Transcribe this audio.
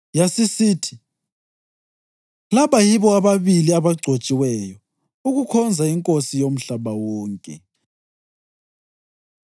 Yasisithi, “Laba yibo ababili abagcotshiweyo ukukhonza iNkosi yomhlaba wonke.”